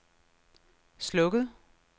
slukket